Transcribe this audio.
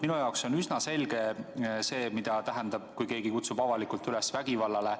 Minu jaoks on üsna selge, mida tähendab see, kui keegi kutsub avalikult üles vägivallale.